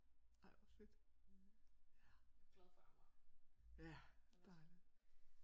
Ej hvor fedt ja ja dejligt